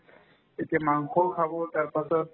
এতিয়া মাংসও খাব তাৰপাছত